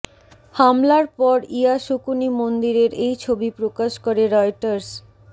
হামলার পর ইয়াসুকুনি মন্দিরের এই ছবি প্রকাশ করে রয়টার্স